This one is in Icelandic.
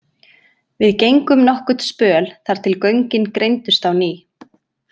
Við gengum nokkurn spöl þar til göngin greindust á ný.